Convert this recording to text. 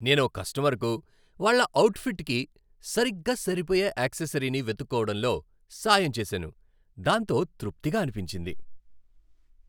నేను ఓ కస్టమర్కు వాళ్ళ అవుట్ఫిట్కి సరిగ్గా సరిపోయే యాక్సెసరీని వెతుక్కోవడంలో సాయం చేశాను, దాంతో తృప్తిగా అనిపించింది.